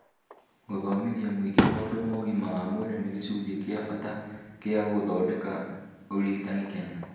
Gũthomithia mũingĩ maũndũ ma ũgima wa mwĩrĩ nĩ gĩcunjĩ kĩa bata kĩa gũthondeka ũrigitani Kenya